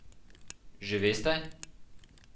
Že veste?